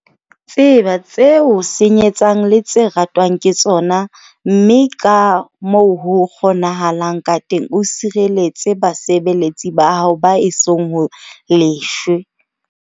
Tseba tse o senyetsang le tse ratwang ke tsona, mme ka moo ho kgonahalang ka teng o sireletse basebeletsi ba hao ba esong ho lefshwe.